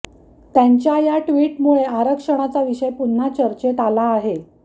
त्यांच्या या ट्विटमुळे आरक्षणाचा विषय पुन्हा चर्चेत आला आहे